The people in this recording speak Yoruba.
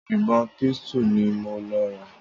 ìbọn pistol ni mo lọ rà.